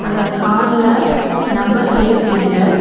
அந்த கார்ல number plate இல்ல.